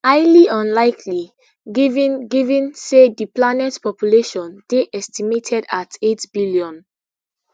highly unlikely given given say di planet population dey estimated at eight billion